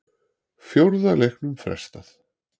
Fjórða leiknum frestað